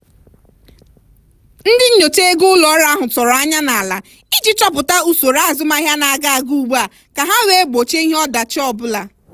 ndị nyocha ego ụlọ ọrụ ahụ tọrọ anya n'ala iji chọpụta usoro azụmahịa na-aga aga ugbua ka ha wee gbochie ihe ọdachi ọbụla.